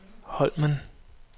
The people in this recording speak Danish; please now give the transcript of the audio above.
Holmen